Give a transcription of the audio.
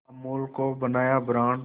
अमूल को बनाया ब्रांड